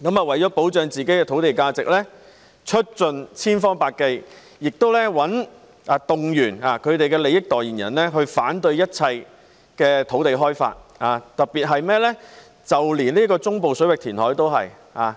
為了保障自己土地的價值，他們會出盡千方百計，動員其利益代言人反對一切土地開發，連中部水域填海也反對。